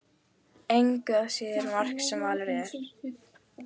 Engu að síður margt sem valið er.